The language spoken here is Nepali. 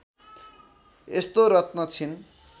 यस्तो रत्न छिन्